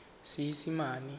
seesimane